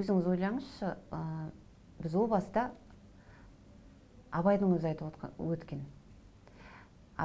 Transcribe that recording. өзіңіз ойлаңызшы ы біз о баста абайдың өзі айтып өткен